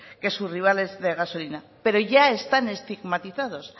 que sus rivales de gasolina pero ya están estigmatizados